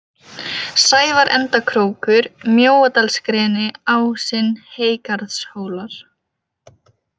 Sævarendakrókur, Mjóadalsgreni, Ásinn, Heygarðshólar